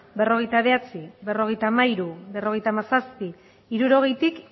berrogeita bederatzi berrogeita hamairu berrogeita hamazazpi hirurogeitik